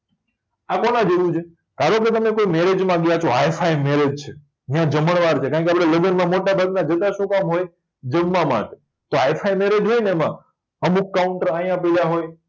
આ કોના જેવું છે ધારોકે તમે કોય મેરેજમાં ગયા છો હાઇફાઇ મેરેજ છે ન્યા જમડવાર છે કારણકે આપણે લગનમાં મોટાભાગના જમવા માટે તો હાઇફાઇ મેરેજ હોયને એમાં અમુક કાઉન્ટર આયા પયડા હોય